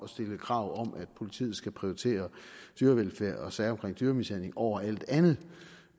stille krav om at politiet skal prioritere dyrevelfærd og sager om dyremishandling over alt andet